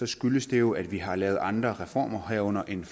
skyldes det jo at vi har lavet andre reformer herunder en